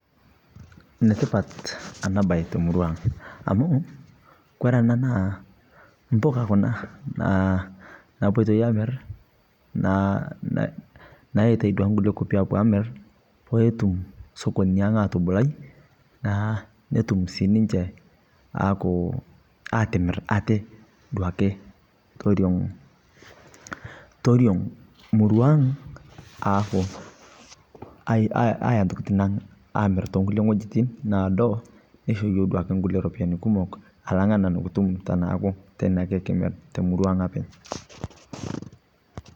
Netipaat ena bayi te murua ang amu kore ena naa mbukaa kuna naa naipotei amiir. Naa naetai duake nkulee nkaapi apoi amiir pee ituum sokooni ang atubulai . Naa netuum sii ninchee aaku atimiir atee dauke tooriong'. Tooriong' murua ang aaku ayaa ntokitin ang amiir to nkulee ng'ojitin naado neishoo yoo duake nkule ropiani kumook alang' taa nikituum tanaaku tenee ake kimiir te murua ang apeny'.